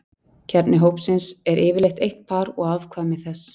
Kjarni hópsins er yfirleitt eitt par og afkvæmi þess.